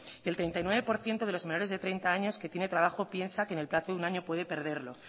el treinta y nueve por ciento de los menores de treinta años que tiene trabajo piensa que en el plazo de un año puede perderlo